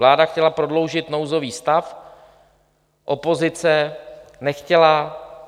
Vláda chtěla prodloužit nouzový stav, opozice nechtěla.